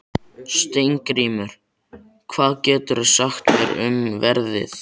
Steingrímur, hvað geturðu sagt mér um veðrið?